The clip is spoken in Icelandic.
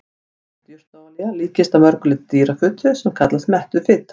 Hert jurtaolía líkist að mörgu leyti dýrafitu sem kallast mettuð fita.